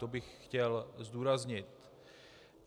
To bych chtěl zdůraznit.